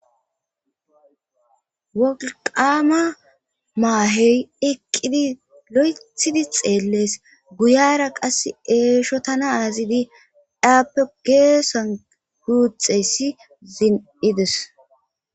Woliqama maheyi eqidi loyithidi xeles guyara qasi eshotana azidi eyape gesani guxeyis zi'ides